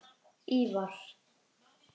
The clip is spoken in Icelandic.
Ívar